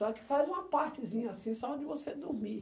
Só que faz uma partezinha assim, só onde você dormir.